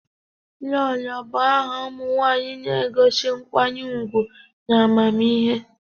Lolo bụ aha ụmụ nwanyị na-egosi nkwanye ugwu na amamihe.